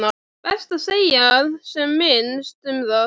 Best að segja sem minnst um það.